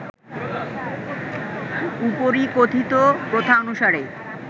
উপরিকথিত প্রথানুসারে